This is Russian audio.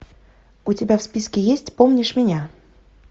у тебя в списке есть помнишь меня